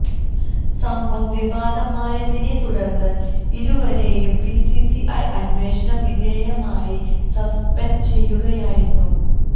സംഭവം വിവാദമാതയിനെ തുടര്ന്ന് ഇരുവരെയും ബിസിസിഐ അന്വേഷണ വിധേയമായി സസ്പെന്ഡ് ചെയ്യുകയായിരുന്നു